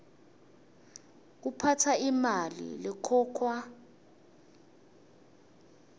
kuphatsa imali lekhokhwa